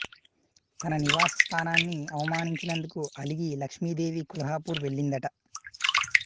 తన నివాస స్థానాన్ని అవమానించినందుకు అలిగి లక్ష్మీదేవి కొల్హాపూర్ వెళ్ళిందట